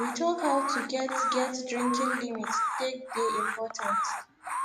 we talk how to get get drinking limit take dey important